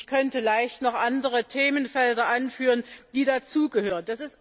Ich könnte leicht noch andere Themenfelder anführen, die dazugehören.